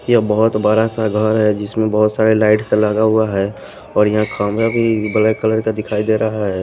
यह बहुत बड़ा सा घर है जिसमें बहुत सारे लाइट्स लगा हुआ है और यहां खंभा भी ब्लैक कलर का दिखाई दे रहा है।